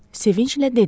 Sevincdən dedi: